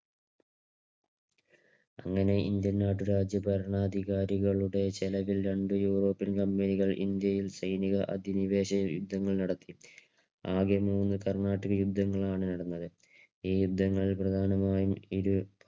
അങ്ങനെ ഇന്ത്യൻ നാട്ടുരാജ ഭരണാധികാരികളുടെ ചെലവിൽ രണ്ട് Europian Company കൾ ഇന്ത്യയിൽ സൈനിക അധിനിവേശ യുദ്ധങ്ങൾ നടത്തി. ആകെ മൂന്ന് കർണാട്ടിക് യുദ്ധങ്ങളാണ് നടന്നത്. ഈ യുദ്ധങ്ങളിൽ പ്രധാനമായും ഇരു